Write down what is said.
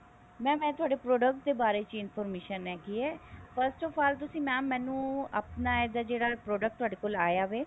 mam ਮੈਂ ਤੁਹਾਡੇ product ਦੇ ਬਾਰੇ ਚ information ਹੈਗੀ ਹੈ first of all mam ਤੁਸੀਂ ਮੈਨੂੰ ਆਪਣਾ ਇਹਦਾ ਜਿਹੜਾ product ਥੋਡੇ ਕੋਲ ਆਇਆ ਹੈ